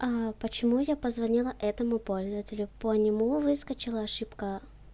почему я позвонила этому пользователю по нему выскочила ошибка